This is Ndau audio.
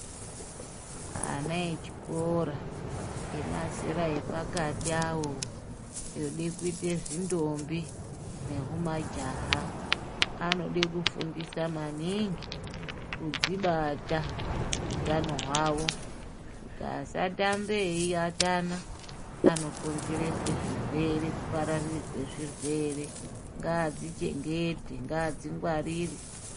Ana echikora emazera epakati awo, ode kuyite zvindombi nehumajaha, anode kufundisa maningi, kudzibata utano hwavo, kuti asatambe eyiatana anokonzerese zvirwere kupararire kwezvirwere, ,ngaadzichengete, ngaadzingwarire.